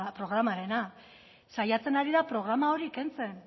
programarena saiatzen ari da programa hori kentzen